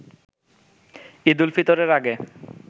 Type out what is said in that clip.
ঈদ উল ফিতরের আগে